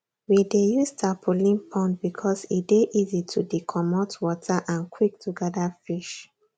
we dey use tarpaulin pond because e dey easy to dcomot water and quick to gather fish